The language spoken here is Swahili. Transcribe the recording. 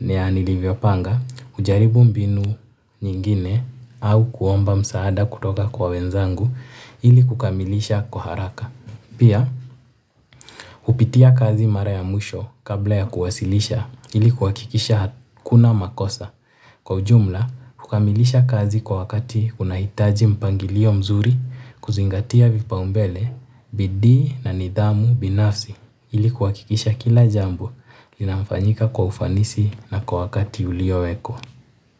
nanilivyo panga, hujaribu mbinu nyingine au kuomba msaada kutoka kwa wenzangu ili kukamilisha kwa haraka. Pia, upitia kazi mara ya mwisho kabla ya kuwasilisha ilikuhakikisha hakuna makosa. Kwa ujumla, kukamilisha kazi kwa wakati unahitaji mpangilio mzuri kuzingatia vipaombele, bidii na nidhamu binafsi ili kuhakikisha kila jambo linamfanyika kwa ufanisi na kwa wakati ulio wekwa.